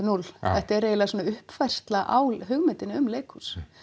núll þetta er eiginlega svona uppfærsla á hugmyndinni um leikhús